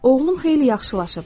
Oğlum xeyli yaxşılaşıb.